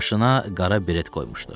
Başına qara biret qoymuşdu.